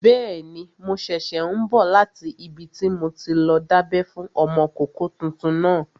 Bẹ́ẹ̀ni, mo ṣẹ̀ṣẹ̀ n bọ̀ láti ibi tí mo ti lọ dábẹ́ fún ọmọkọ́kọ́ tuntun náà